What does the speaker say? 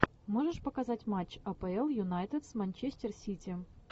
можешь показать матч апл юнайтед с манчестер сити